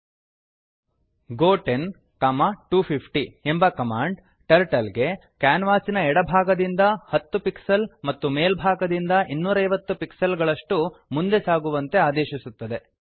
ಗೋ 10250 go ten comma two fifty ಎಂಬ command turtle ಗೆ ಕ್ಯಾನ್ವಾಸಿನ ಎಡಭಾಗದಿಂದ 10 ಪಿಕ್ಸೆಲ್ಸ್ ಮತ್ತು ಮೇಲ್ಭಾಗದಿಂದ 250 ಪಿಕ್ಸೆಲ್ಸ್ ಗಳಷ್ಟು ಮುಂದೆ ಸಾಗುವಂತೆ ಆದೇಶಿಸುತ್ತದೆ